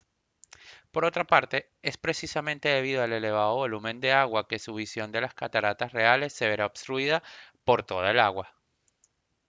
por otra parte es precisamente debido al elevado volumen de agua que su visión de las cataratas reales se verá obstruida ¡por toda el agua!